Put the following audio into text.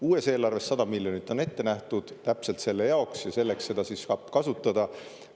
Uues eelarves 100 miljonit on ette nähtud täpselt selle jaoks ja selleks seda siis saab kasutada.